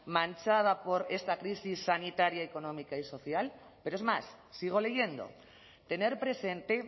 manchada por esta crisis sanitaria económica y social pero es más sigo leyendo tener presente